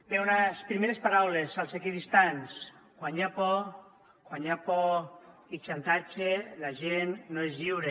bé unes primeres paraules als equidistants quan hi ha por quan hi ha por i xantatge la gent no és lliure